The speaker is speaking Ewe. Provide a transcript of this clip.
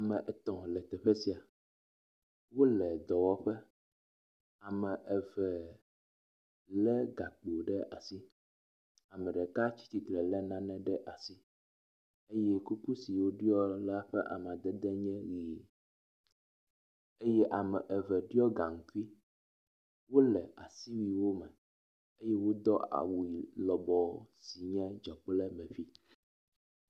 ame etɔ̃ le teƒe sia wóle dɔwɔƒe ame eve le gakpo ɖe asi ameɖeka tsitsitre le nane ɖe asi eye kuku si woɖiɔ la nye amadede yi eye ame eve ɖiɔ gaŋkui wóle asiwuiwo me eye wodó awu lɔbɔ si nye dzɔkplemeƒi